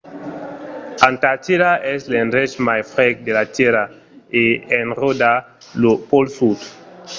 antartida es l’endrech mai freg de la tèrra e enròda lo pòl sud